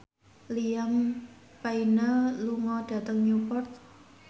Liam Payne lunga dhateng Newport